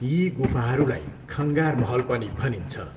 यी गुफाहरूलाई खङ्गार महल पनि भनिन्छ।